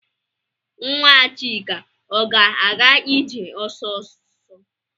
Nwa Chika ọ ga-aga ije ọsịsọ?